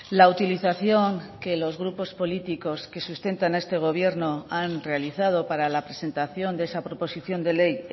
la utilización que los grupos políticos que sustentan a este gobierno han realizado para la presentación de esa proposición de ley